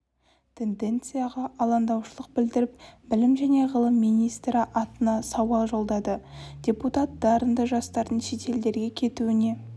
тенденцияға алаңдаушылық білдіріп білім және ғылым министрі атына сауал жолдады депутат дарынды жастардың шетелдерге кетуіне